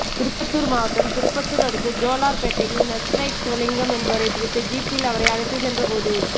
திருப்பத்தூர் மாவட்டம் திருப்பத்தூர் அடுத்த ஜோலார்பேட்டையில் நக்சலைட் சிவலிங்கம் என்பவரை பிடித்து ஜீப்பில் அவரை அழைத்து சென்ற போது